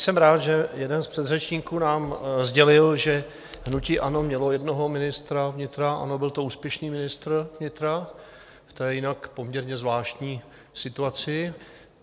Jsem rád, že jeden z předřečníků nám sdělil, že hnutí ANO mělo jednoho ministra vnitra - ano, byl to úspěšný ministr vnitra v té jinak poměrně zvláštní situaci.